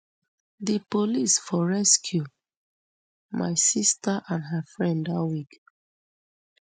di police for rescue my sister and her friend dat week